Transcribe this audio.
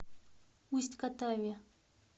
усть катаве